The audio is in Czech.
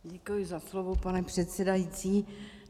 Děkuji za slovo, pane předsedající.